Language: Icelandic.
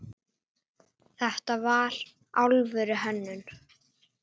Þetta var alvöru hönnun.